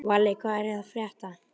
Valli, hvað er að frétta?